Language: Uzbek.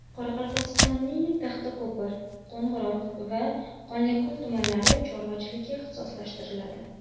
Qoraqalpog‘istonning Taxtako‘pir, Qo‘ng‘irot va Qonliko‘l tumanlari chorvachilikka ixtisoslashtiriladi.